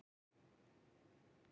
Snærún, hvað er jörðin stór?